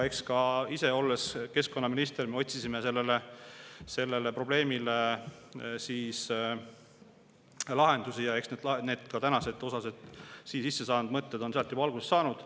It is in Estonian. Eks ka siis, kui ma ise olin keskkonnaminister, me otsisime sellele probleemile lahendusi, ja eks osaliselt ka need nüüd siia sisse saanud mõtted on juba sealt alguse saanud.